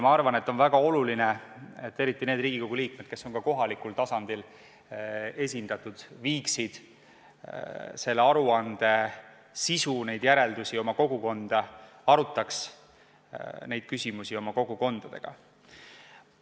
Ma arvan, et on väga oluline, et eriti need Riigikogu liikmed, kes on ka kohalikul tasandil esindatud, viiksid selle aruande sisu, neid järeldusi oma kogukonda, arutaks neid küsimusi oma kogukonnaga.